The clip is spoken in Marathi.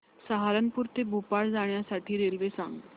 सहारनपुर ते भोपाळ जाण्यासाठी रेल्वे सांग